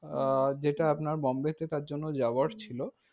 আহ যেটা আপনার বোম্বেতে তার জন্য যাওয়ার ছিল।